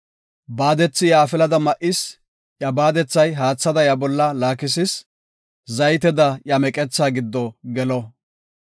Baadethi iya afilada ma7is; iya baadethi haathada iya bolla laakisis; zayteda iya meqethaa giddo gelo.